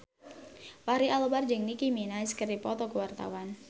Fachri Albar jeung Nicky Minaj keur dipoto ku wartawan